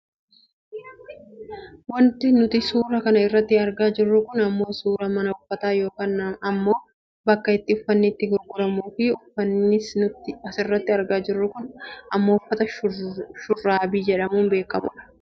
Wanti nuti suura kana irratti argaa jirru kun ammoo suuraa mana uffataa yookaan ammoo bakka itti uffanni itti gurguramu dh. Uffanni nuti asirratti argaa jirru kun ammoo uffata shurraabii jedhamuun beekkamudha.